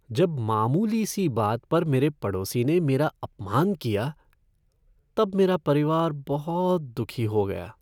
जब मामूली सी बात पर मेरे पड़ोसी ने मेरा अपमान किया तब मेरा परिवार बहुत दुखी हो गया।